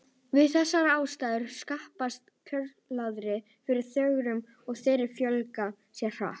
Við þessar aðstæður skapast kjörskilyrði fyrir þörunga og þeir fjölga sér hratt.